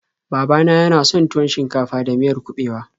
Baba na yana son tuwon shinkafa da miyar kuɓewa.